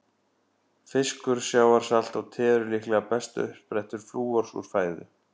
Fiskur, sjávarsalt og te eru líklega bestu uppsprettur flúors úr fæðu.